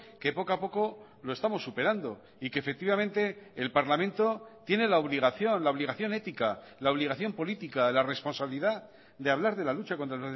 que poco a poco lo estamos superando y que efectivamente el parlamento tiene la obligación la obligación ética la obligación política la responsabilidad de hablar de la lucha contra